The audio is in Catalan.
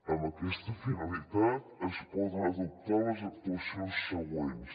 amb aquesta finalitat es poden adoptar les actuacions següents